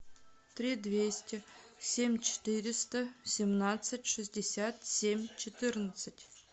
три двести семь четыреста семнадцать шестьдесят семь четырнадцать